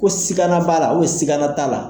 Ko sikanan b'a la sikanan t'a la?